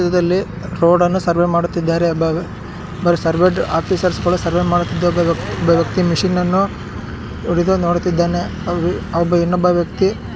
ಈ ಚಿತ್ರದಲ್ಲಿ ರೋಡ್ ಅನ್ನು ಸರ್ವೇ ಮಾಡುತ್ತಿದ್ದಾರೆ. ಬ-ಬ ಸರ್ವೇ ಆಫೀಸರ್ಸಗಳು ಸರ್ವೇ ಮಾಡುತ್ತಿದ್ದ ಒಬ್ಬ ವ್ಯಕ್ತಿ ಒಬ್ಬ ವ್ಯಕ್ತಿ ಮಷೀನನ್ನು ಹಿಡಿದು ನೋಡುತ್ತಿದ್ದಾನೆ. ಅವೊಬ್ಬ ಇನ್ನೊಬ್ಬ ವ್ಯಕ್ತಿ--